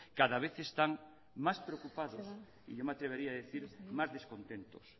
cada vez están más preocupados y yo me atrevería a decir más descontentos